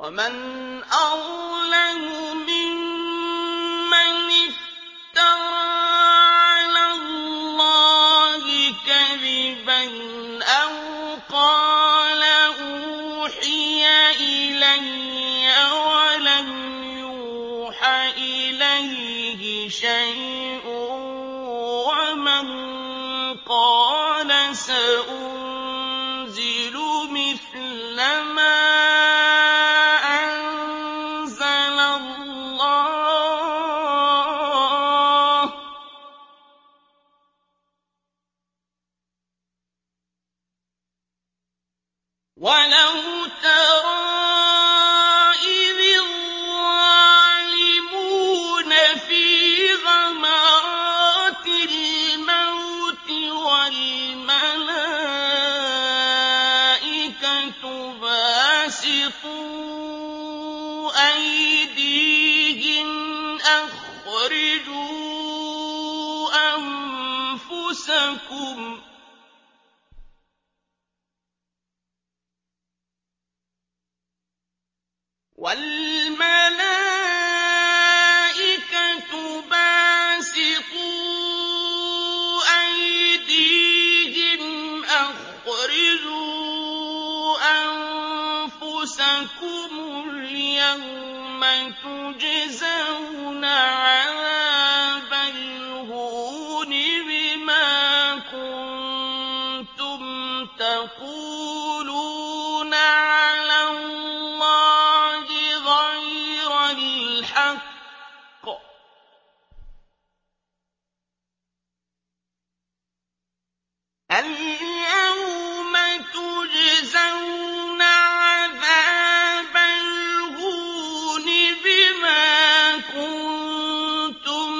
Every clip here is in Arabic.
وَمَنْ أَظْلَمُ مِمَّنِ افْتَرَىٰ عَلَى اللَّهِ كَذِبًا أَوْ قَالَ أُوحِيَ إِلَيَّ وَلَمْ يُوحَ إِلَيْهِ شَيْءٌ وَمَن قَالَ سَأُنزِلُ مِثْلَ مَا أَنزَلَ اللَّهُ ۗ وَلَوْ تَرَىٰ إِذِ الظَّالِمُونَ فِي غَمَرَاتِ الْمَوْتِ وَالْمَلَائِكَةُ بَاسِطُو أَيْدِيهِمْ أَخْرِجُوا أَنفُسَكُمُ ۖ الْيَوْمَ تُجْزَوْنَ عَذَابَ الْهُونِ بِمَا كُنتُمْ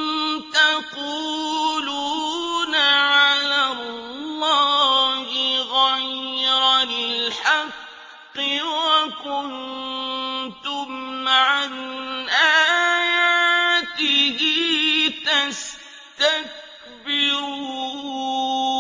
تَقُولُونَ عَلَى اللَّهِ غَيْرَ الْحَقِّ وَكُنتُمْ عَنْ آيَاتِهِ تَسْتَكْبِرُونَ